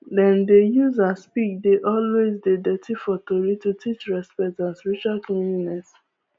dem dey use as pig dey always dey dirty for tory to teach respect and spiritual cleanliness